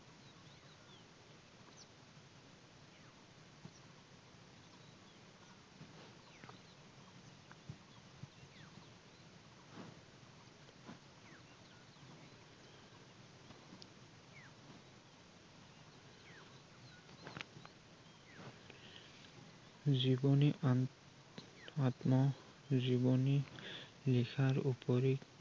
জীৱনি আন আত্মজীৱনি লিখাৰ উপৰি